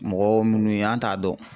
Mɔgɔ minnu ye an t'a dɔn.